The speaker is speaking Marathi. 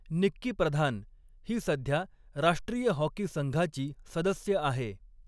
निक्की प्रधान ही सध्या राष्ट्रीय हॉकी संघाची सदस्य आहे.